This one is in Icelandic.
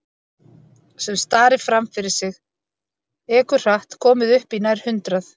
Sem starir fram fyrir sig, ekur hratt, komin upp í nær hundrað.